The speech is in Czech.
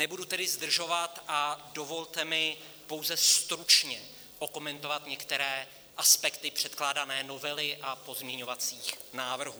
Nebudu tedy zdržovat a dovolte mi pouze stručně okomentovat některé aspekty předkládané novely a pozměňovacích návrhů.